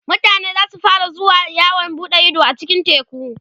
mutane zasu fara zuwa yawon buɗe Ido a cikin teku